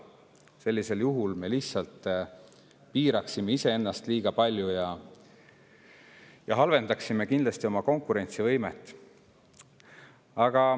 Sellisel juhul me lihtsalt piiraksime iseennast liiga palju ja halvendaksime oma konkurentsivõimet.